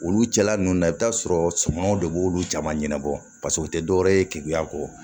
Olu jala ninnu na i bɛ t'a sɔrɔ sumanw de b'olu jama ɲɛnabɔ paseke u tɛ dɔwɛrɛ ye keguya kɔ